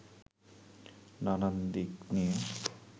নানান দিক নিয়ে